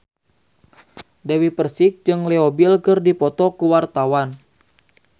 Dewi Persik jeung Leo Bill keur dipoto ku wartawan